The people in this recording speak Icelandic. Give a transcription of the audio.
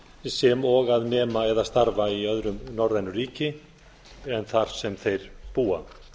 sem og að nema eða starfa í öðrum norrænu ríki en þar sem þeir búa